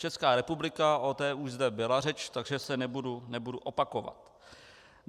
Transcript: Česká republika - o té už zde byla řeč, takže se nebudu opakovat.